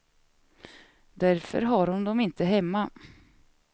Därför har hon dem inte hemma.